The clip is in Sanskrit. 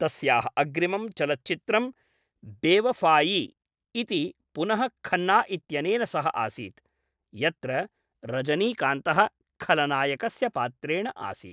तस्याः अग्रिमं चलच्चित्रं बेवफ़ायि इति पुनः खन्ना इत्यनेन सह आसीत्, यत्र रजनीकान्तः खलनायकस्य पात्रेण आसीत्।